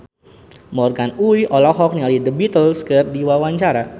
Morgan Oey olohok ningali The Beatles keur diwawancara